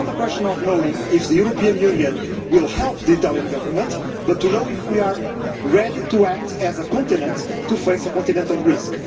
It is not a question of knowing if the European Union will help the Italian Government but to know if we are ready to act as a continent to face a continental risk.